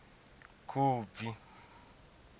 khubvi